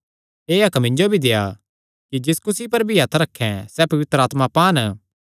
एह़ हक्क मिन्जो भी देआ कि जिस कुसी पर भी हत्थ रखैं सैह़ पवित्र आत्मा पान